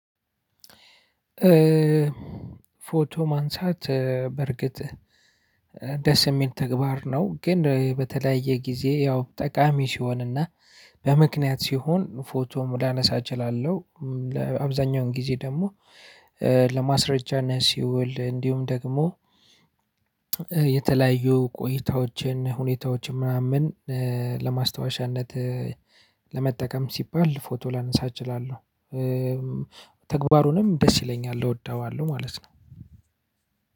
ፎቶ ማንሳት በርግጥ ደስ ሚል ተግባር ነው። ግን በተለያየ ጊዜ ያው ጠቃሚ ሲሆንና በምክንያት ሲሆን ፎቶም ላነሳ እችላለሁ። ለአብዛኛውን ጊዜ ደግሞ ለማስረጃነት ሲውል እንዲሁም ደግሞ የተለያዩ ቆይታዎችን ሁኔታዎችን ምናምን ለማስታወሻነት ለመጠቀም ሲባል ፎቶ ላነሳ እችላለሁ። ተግባሩንም ደስ ይለኛል እወደዋለሁ ማለት ነው።